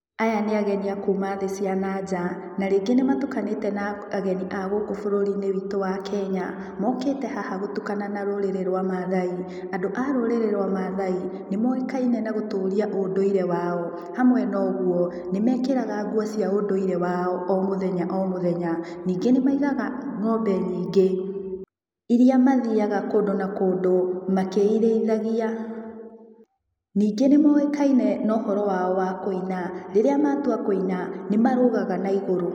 Aya nĩ ageni a kuma thĩ cia na nja. Na rĩngĩ nĩmatukanĩte na, ageni a gũkũ bũrũri-inĩ witũ wa Kenya. Mokĩte haha gũtukana na rũrĩrĩ rwa Maathai. Andũ a rũrĩrĩ rwa Maathai, nĩmoĩkaine na gũtũria ũndũire wao. Hamwe na ũguo, nĩmekĩraga nguo cia ũndũire wao o mũthenya o mũthenya. Ningĩ nĩmaigaga, ngombe nyingĩ iria mathiaga kũndũ na kũndũ, makĩirĩithagia. Ningĩ nĩmoĩkaine na ũhoro wao wa kũina, rĩrĩa matua kũina, nĩmarũgaga naigũrũ